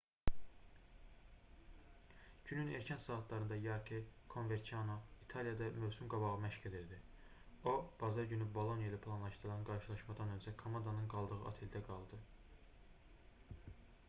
günün erkən saatlarında yarke konverçano i̇taliyada mövsüm-qabağı məşq edirdi. o bazar günü boloniya ilə planlaşdırılan qarşılaşmadan öncə komandanın qaldığı oteldə qaldı